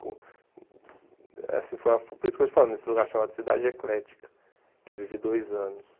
Uh assim foi a por isso que eu estou te falando, nesse lugar chamado Cidade Eclética, que eu vivi dois anos.